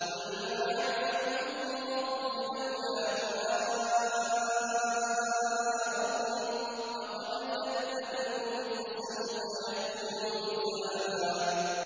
قُلْ مَا يَعْبَأُ بِكُمْ رَبِّي لَوْلَا دُعَاؤُكُمْ ۖ فَقَدْ كَذَّبْتُمْ فَسَوْفَ يَكُونُ لِزَامًا